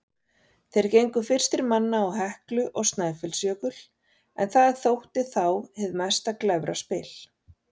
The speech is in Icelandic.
Þeir gengu fyrstir manna á Heklu og Snæfellsjökul, en það þótti þá hið mesta glæfraspil.